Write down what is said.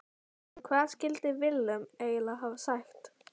En hvað skildi Willum eiginlega hafa sagt?